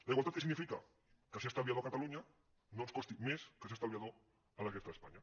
la igualtat què significa que ser estalviador a catalunya no ens costi més que ser estalviador a la resta d’espanya